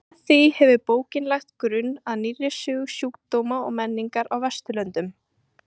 Með því hefur bókin lagt grunn að nýrri sögu sjúkdóma og menningar á Vesturlöndum.